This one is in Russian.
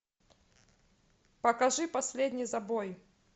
покажи последний забой